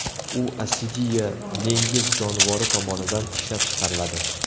U assidiya dengiz jonivori tomonidan ishlab chiqariladi.